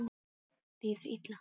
Frekar fyndið!